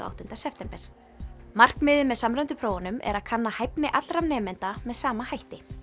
áttunda september markmiðið með samræmdum prófum er að kanna hæfni allra nemenda með sama hætti